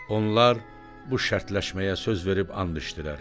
Onlar bu şərtləşməyə söz verib and içdilər.